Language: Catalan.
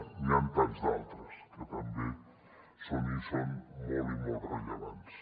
n’hi han tants d’altres que també hi són i són molt i molt rellevants